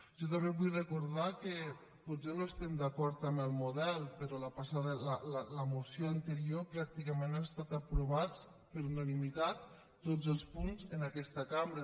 jo també vull recordar que potser no estem d’acord amb el model però de la moció anterior pràcticament han estat aprovats per unanimitat tots els punts en aquesta cambra